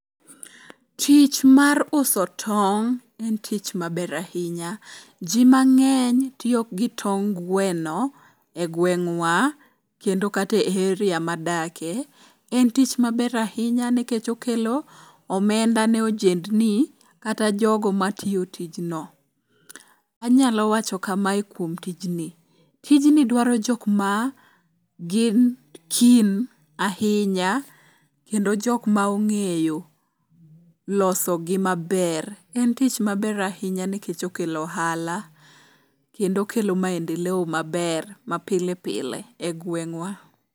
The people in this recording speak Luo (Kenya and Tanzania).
Tich mar uso tong' en tich maber ahinya. Ji mang'eny tiyo gi tong' gweno e gweng'wa kendo kata e heria madakie. En tich maber ahinya nikech okelo omenda ne ojendni kata jogo matiyo tijno. Anyalo wacho kamae kuom tijni. Tijni dwaro jokma gin keen ahinya kendo jokma ong'eyo losogi maber. En tich maber ahinya nkech okelo ohala kendo okelo maendeleo maber mapile pile e gweng'wa.